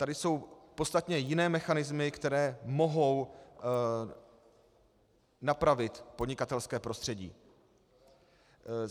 Tady jsou podstatně jiné mechanismy, které mohou napravit podnikatelské prostředí.